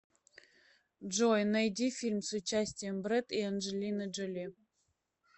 джой найди фильм с участием брэд и анджелины джоли